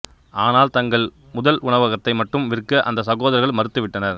ஆனால் தங்கள் முதல் உணவகத்தை மட்டும் விற்க அந்த சகோதரர்கள் மறுத்து விட்டனர்